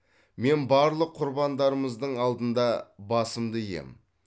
мен барлық құрбандарымыздың алдында басымды иемін